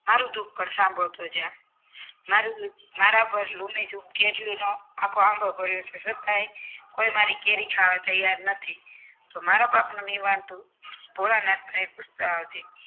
મારો દુઃખ પણ સાંભળતો જા મારૂ દુઃખ મારા પર લૂનેચૂક આખો આંબો પડિયો છે કોઈ મારી કેરી ખાવા તૈયાર નથી તો મારા પાકનો નિવારણ તું ભોળાનાથ ને પૂછતો આવજે